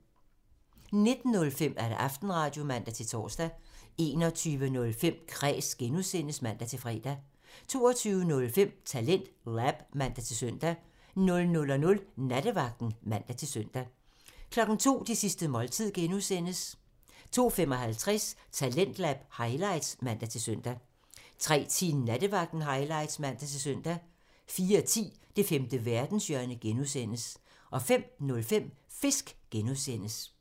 19:05: Aftenradio (man-tor) 21:05: Kræs (G) (man-fre) 22:05: TalentLab (man-søn) 00:00: Nattevagten (man-søn) 02:00: Det sidste måltid (G) (man) 02:55: Talentlab highlights (man-søn) 03:10: Nattevagten highlights (man-søn) 04:10: Det femte verdenshjørne (G) (man) 05:05: Fisk (G) (man)